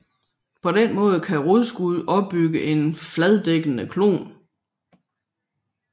På den måde kan rodskud opbygge en fladedækkende klon